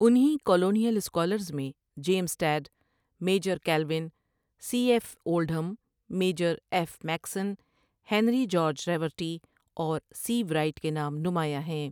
انہیں colonial scholars میں James Tod, Major Colvin, C F Oldham, Major F Mackson, Henry George Raverty اور سیو رائٹ کے نام نمایاں ہیں ۔